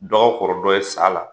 Dɔ ka kɔrɔ dɔ ye sa la